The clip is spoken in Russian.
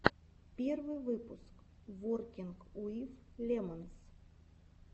первый выпуск воркинг уив лемонс